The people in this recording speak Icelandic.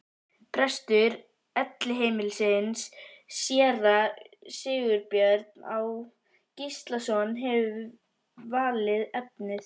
Prestur Elliheimilisins, séra Sigurbjörn Á. Gíslason, hefur valið efnið.